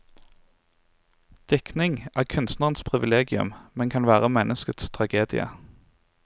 Diktning er kunstnerens privilegium, men kan være menneskets tragedie.